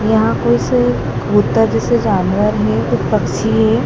यहां कुछ कबूतर जैसे जानवर हैं कुछ पक्षी है।